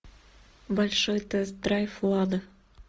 большой тест драйв лада